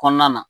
Kɔnɔna na